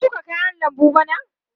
Ka shuka kayan lambu bana?